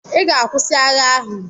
I ga-akwụsị agha ahụ!